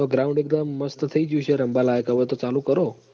તો ground એકદમ મસ્ટ થઈ જ્યું હશે રમવા લાયક હવ તો ચાલુ કરો